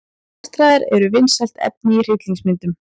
Martraðir eru vinsælt efni í hryllingsmyndum.